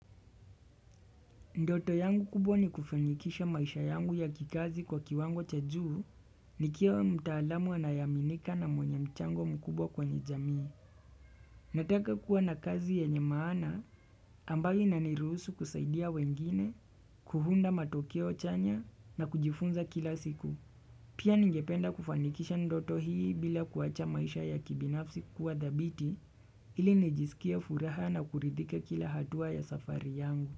Ndoto yangu kubwa ni kufanikisha maisha yangu ya kikazi kwa kiwango cha juu, nikiwa mtaalamu anaye aminika na mwenye mchango mkubwa kwenye jamii. Nataka kuwa na kazi yenye maana, ambayo inaniruhusu kusaidia wengine, kuunda matokeo chanya na kujifunza kila siku. Pia ningependa kufanikisha ndoto hii bila kuwacha maisha ya kibinafsi kuwa dhabiti, ili nijisikie furaha na kuridhika kila hatua ya safari yangu.